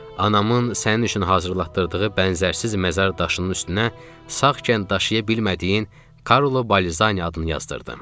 Anamın sənin üçün hazırlatdırdığı bənzərsiz məzar daşının üstünə sağkən daşıya bilmədiyin Karlo Balzaniya adını yazdırdım.